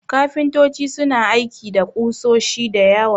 Kafintoci suna aiki da ƙusoshi da yawa.